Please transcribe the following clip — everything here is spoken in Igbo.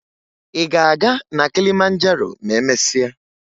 Ị ga-aga na Kilimanjaro ma emesịa?